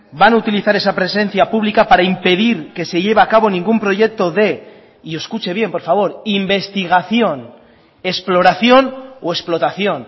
van a utilizar esa presencia pública para impedir que se lleve a cabo ningún proyecto de y escuche bien por favor investigación exploración o explotación